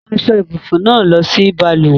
Mú aṣọ-ìbùsùn náà lọ sí balùwẹ̀!